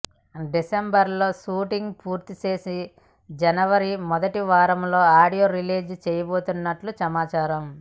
డిసెంబర్లో షూటింగ్ పూర్తి చేసి జనవరి మొదటి వారంలో ఆడియో రిలీజ్ చేయబోతున్నట్లు సమాచారం